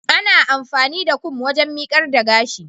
ana amfani da Kum waken mikar da gash